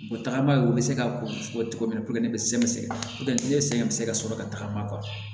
tagama ye u bɛ se ka ko ye cogo min na ne bɛ sɛgɛ sɛgɛn ne sɛgɛn bɛ se ka sɔrɔ ka tagama